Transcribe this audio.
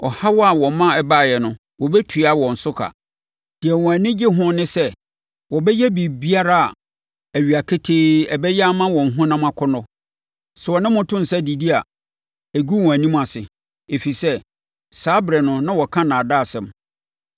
Ɔhaw a wɔma ɛbaeɛ no, wɔbɛtua wɔn so ka. Deɛ wɔn ani gye ho ne sɛ wɔbɛyɛ biribiara awia ketee a ɛbɛyɛ ama wɔn honam akɔnnɔ. Sɛ wɔne mo to nsa didi a, ɛgu wɔn anim ase. Ɛfiri sɛ, saa ɛberɛ no na wɔka nnaadaasɛm.